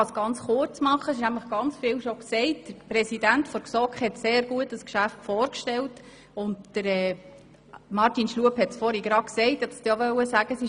Der Präsident der GSoK hat das Geschäft sehr gut vorgestellt, und Grossrat Schlup hat es soeben gesagt: